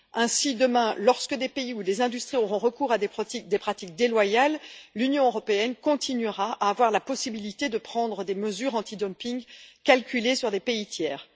Ainsi, demain, lorsque des pays ou des industries auront recours à des pratiques déloyales, l'Union européenne continuera à avoir la possibilité de prendre des mesures antidumping calculées sur des pays tiers.